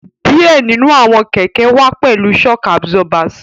Diẹ ninu awọn kẹkẹ wà pẹlú shock absorbers